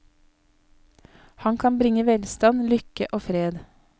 Han kan bringe velstand, lykke og fred.